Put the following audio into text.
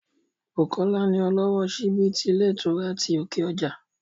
Bùkọ́lá ni ọlọ́wọ́ síbí ti ilé ìtura ti òkè ọjà